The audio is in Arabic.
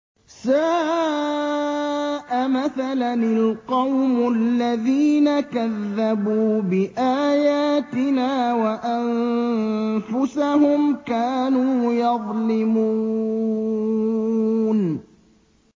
سَاءَ مَثَلًا الْقَوْمُ الَّذِينَ كَذَّبُوا بِآيَاتِنَا وَأَنفُسَهُمْ كَانُوا يَظْلِمُونَ